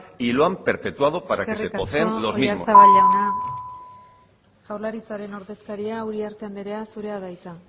y lo han perpetuado para que se los mismos eskerrik asko oyarzabal jauna jaurlaritzaren ordezkaria uriarte andrea zurea da hitza